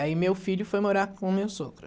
Aí meu filho foi morar com o meu sogro.